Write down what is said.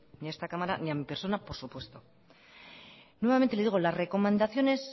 ni a esta cámara ni a mi persona por supuesto nuevamente le digo las recomendaciones